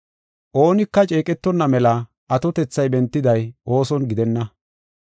Oonika ceeqetonna mela atotethay bentiday ooson gidenna.